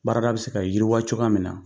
Baarada bɛ se ka yiriwa cogoya min na.